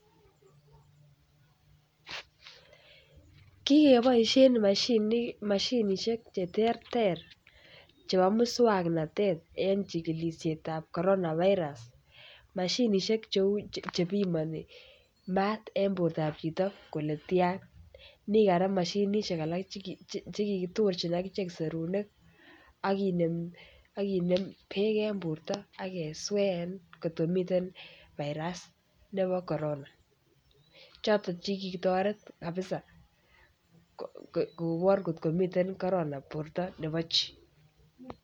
Kigeboisien mashinik mashinisiek cheterter chebo muswoknotonitet eng chikilisietab corona virus mashinisiek cheu chebimoni mat eng bortab chito kole tian mi korak moshinisiek alak chekikitorjin agine serunek ak kinem beek eng borto agesween kot ko miten[virus] nebo corona chotok che kitoret kabisaa kobor kotko miten corona borto nebo chi.